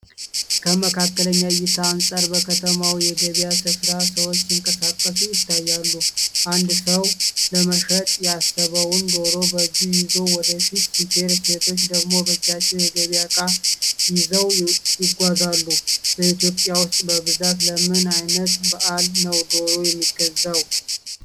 ከመካከለኛ እይታ አንጻር በከተማው የገበያ ስፍራ ሰዎች ሲንቀሳቀሱ ይታያሉ። አንድ ሰው ለመሸጥ ያሰበውን ዶሮ በእጁ ይዞ ወደ ፊት ሲሄድ፣ ሴቶች ደግሞ በእጃቸው የገበያ እቃ ይዘው ይጓዛሉ። በኢትዮጵያ ውስጥ በብዛት ለምን ዓይነት በዓል ነው ዶሮ የሚገዛው?